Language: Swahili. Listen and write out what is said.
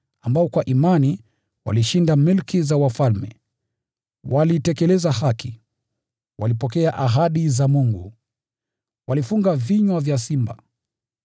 ambao kwa imani walishinda milki za wafalme, walitekeleza haki, na wakapokea ahadi za Mungu; walifunga vinywa vya simba,